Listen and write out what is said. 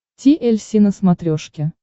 ти эль си на смотрешке